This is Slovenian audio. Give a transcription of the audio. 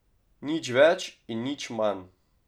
Nič več in nič manj.